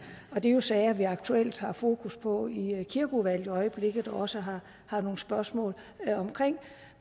er jo sager vi aktuelt har fokus på i kirkeudvalget øjeblikket også har har nogle spørgsmål om